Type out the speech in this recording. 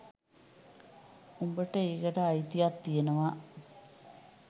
උබට ඒකට අයිතියක් තියෙනවා